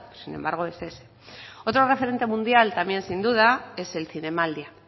sin embargo es ese otro referente mundial también sin duda es el zinemaldia